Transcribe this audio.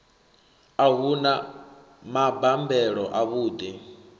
a hu na mabambelo avhuḓi